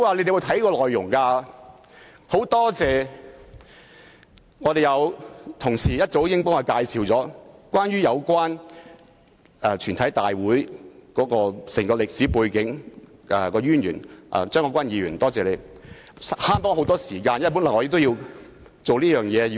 因此，我很感謝較早前有同事向大家介紹有關全體委員會的歷史背景及淵源——多謝張國鈞議員——令我們節省了很多時間，否則我也要花時間了解。